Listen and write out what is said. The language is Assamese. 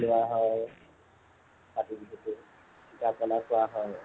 পিঠা বনোৱা হয় কাতি বিহুতো। পিঠা পনা খোৱা হয়